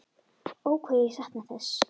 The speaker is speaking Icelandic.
Ó hvað ég sakna þess.